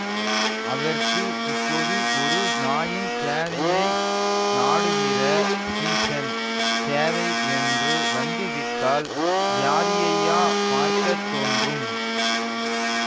அதற்கு இப்போது ஒரு நாயின் தேவையை நாடுகிற ஸீஸன் தேவை என்று வந்து விட்டால் ஜாதியையா பார்க்க தோன்றும்